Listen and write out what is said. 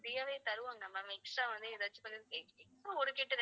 free ஆ வே தருவாங்க ma'am extra வந்து எதாச்சும் கொஞ்சம்